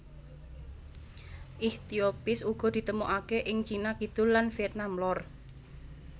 Ichthyophis uga ditemokaké ing Cina Kidul lan Vietnam lor